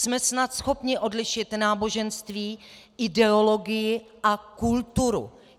Jsme snad schopni odlišit náboženství, ideologii a kulturu.